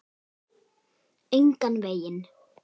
Engan veginn.